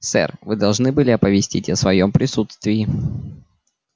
сэр вы должны были оповестить о своём присутствии